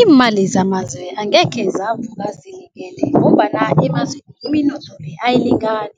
Iimali zamazwe angekhe zavuka ngombana emazweni iminotho le ayilingani.